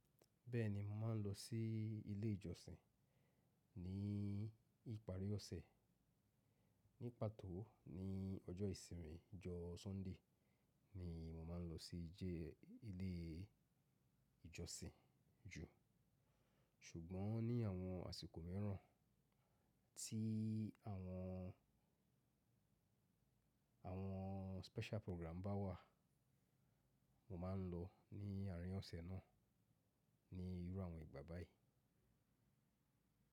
Bẹ́ẹ̀ni, mo máa ń lọ sí ilé ìjọsìn ní ìparí ọ̀sẹ̀. Ní pàtó ni ọjọ́ ìsinmi, ọjọ́ Sunday ni mo máa ń lọ sí ilé ìjọsìn jù. Ṣùgbọ́n ní àwọn àsìkò mìíràn tí àwọn, àwọn special program bá wà, mo máa ń lọ ní àrín oṣẹ náà ní irú àwọn ìgbà báyìí.